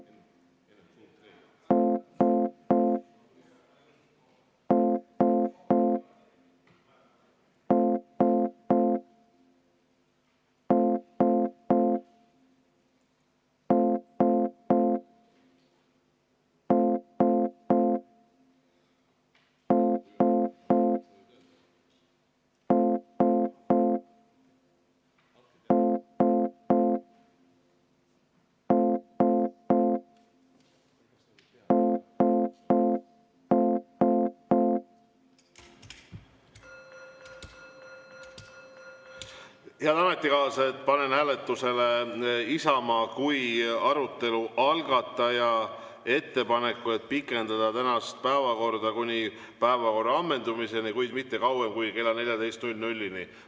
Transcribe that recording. Head ametikaaslased, panen hääletusele Isamaa kui arutelu algataja ettepaneku pikendada tänast istungit kuni päevakorra ammendumiseni, kuid mitte kauem kui kella 14-ni.